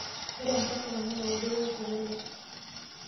Ore enkoshoke naa eudoto olchore lai.